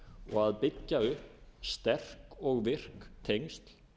og að byggja upp sterk og virk tengsl